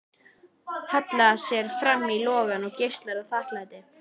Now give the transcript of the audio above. Hallar sér fram í logann og geislar af þakklæti.